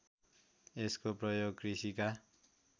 यसको प्रयोग कृषिका